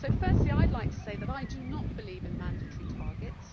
Firstly, I would like to say that I do not believe in mandatory targets.